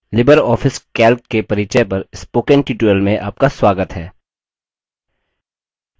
Libre office calc के परिचय पर spoken tutorial में आपका स्वागत है